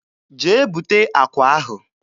Jee bute akwa ahụ.